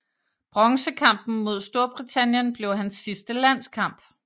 Bronzekampen mod Storbritannien blev hans sidste landskamp